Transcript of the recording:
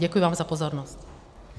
Děkuji vám za pozornost.